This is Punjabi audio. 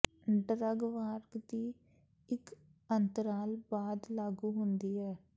ਡਰੱਗ ਵਾਰ ਦੀ ਇੱਕ ਅੰਤਰਾਲ ਬਾਅਦ ਲਾਗੂ ਹੁੰਦੀ ਹੈ